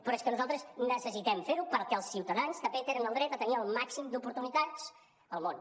però és que nosaltres necessitem fer ho perquè els ciutadans també tenen el dret a tenir el màxim d’oportunitats al món